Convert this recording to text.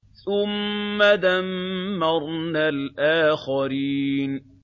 ثُمَّ دَمَّرْنَا الْآخَرِينَ